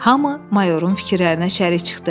Hamı mayorun fikirlərinə şərik çıxdı.